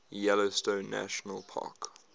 yellowstone national park